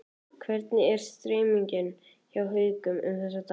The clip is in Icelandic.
Hvernig er stemningin hjá Haukum um þessa dagana?